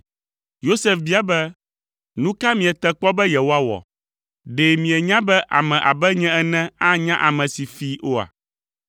Yosef bia be, “Nu ka miete kpɔ be yewoawɔ? Ɖe mienya be ame abe nye ene anya ame si fii oa?”